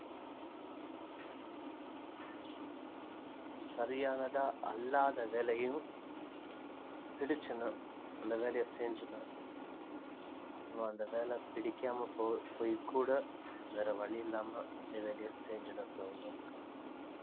சரியானதா அல்லாத வேலையும் புடிச்சுன்னா அந்த வேலையை செஞ்சொன்னா அப்பறம் அந்த வேலை பிடிக்காம போயி போயி கூட வேற வழியில்லாம அதே வேலையை செஞ்சிட்டுருக்கிறவங்க இருக்காங்க